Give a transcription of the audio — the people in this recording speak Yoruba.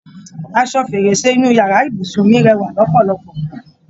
Aṣọ fèrèsé inú yàrá ibùsùn mí rẹwà lọpọlọpọ